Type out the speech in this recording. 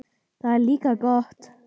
Það er líka gott.